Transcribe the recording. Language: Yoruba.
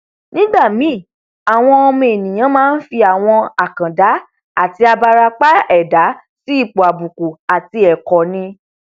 nígbàmíì àwa ọmọ ènìà máa nfi àwọn àkàndá àti abarapa ẹdá si ipò àbùkù àti ẹkọ ni